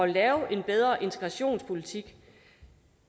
lave en bedre integrationspolitik